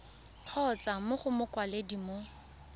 kgotsa mo go mokwaledi mo